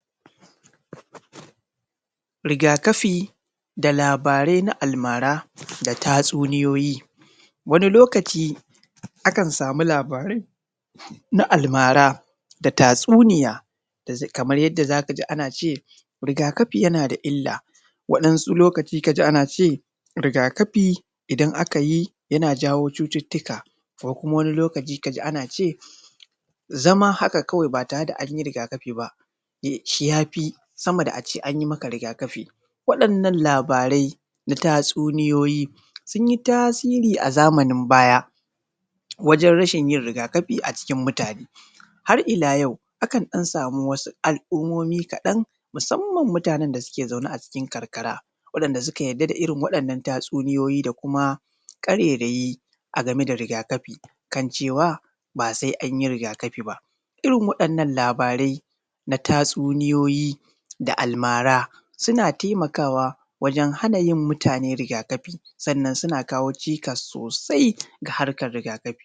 Riga kafi da labarai na almara da tsatsuniyoyi wani lokaci akan sama labarai na almara da tatsuniya kamar yadda za ka ji an ce riga kafi yana da illa waɗansu lokacin ka ji ana ce riga kafi idan an yi yana jawo wasu cututtuka ko kuma wani lokaci ka ana ce zama haka kawai ba tare da an yi riga kafin ba shi ya fi sama da a ce an maka riga kafin. Waɗannan labarai fa tatsuniyoyi sun yi tasiri a zamanin baya wajen rashin yin riga kafin a cikin mutane. Har ila yau akan sama wasu al'ummomin musamman mutanen da suke zaune a cikin karkara waɗanda suka yarda da irin waɗannan tatsuniyoyin da kuma ƙarairayi dangane da riga kafi kan cewa ba sai an yi riga kafi ba. Irin waɗannan labarai da tatsuniyoyi da almara suna taimakawa hana yin mutane riga kafi sannan suna kawo cikas sosai ga harkar riga kafi.